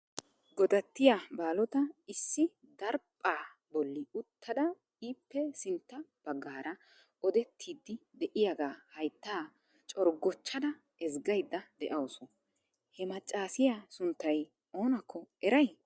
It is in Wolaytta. Godattiya baalotta issi daraphpha bolli uttada ippe sintta baggaara odettidi de'iyaaga haytta corggochchada ezggaydda de'awusu. He maccasiya sunttay oonakko eray?